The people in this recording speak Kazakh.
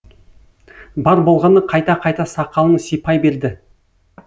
бар болғаны қайта қайта сақалын сипай берді